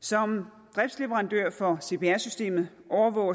som driftsleverandør for cpr systemet overvåger